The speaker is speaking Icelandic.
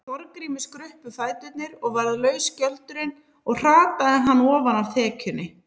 Þorgrími skruppu fæturnir og varð laus skjöldurinn og hrataði hann ofan af þekjunni.